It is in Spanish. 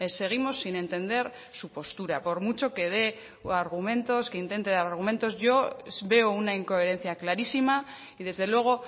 seguimos sin entender su postura por mucho que de argumentos que intente dar argumentos yo veo una incoherencia clarísima y desde luego